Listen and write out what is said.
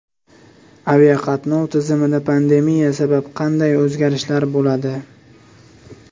Aviaqatnov tizimida pandemiya sabab qanday o‘zgarishlar bo‘ladi?